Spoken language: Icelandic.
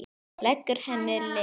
Leggur henni lið.